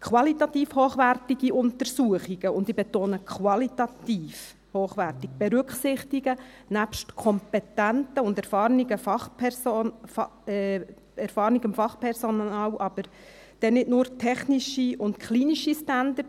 Qualitativ hochwertige Untersuchungen – und ich betone: qualitativ hochwertige – berücksichtigen nebst kompetentem und erfahrenem Fachpersonal aber nicht nur technische und klinische Standards.